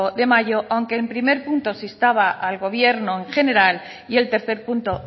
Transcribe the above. de mayo aunque en primer punto se instaba al gobierno en general y el tercer punto